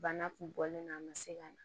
Bana kun bɔlen don a ma se ka na